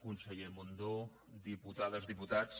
conseller mundó diputades diputats